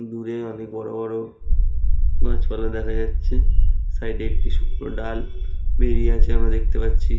দূরে অনেক বড়ো বড়ো গাছ পালা দেখা যাচ্ছে সাইড - এ একটি শুকনো ডাল বেব়িয়়ে আছে আমব়া দেখতে পাচ্ছি।